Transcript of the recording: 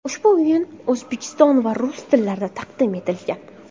Ushbu o‘yin o‘zbek va rus tillarida taqdim etilgan.